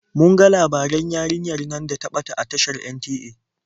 Mun ga labaran yarinyar nan da ta ɓata a tashar NTA.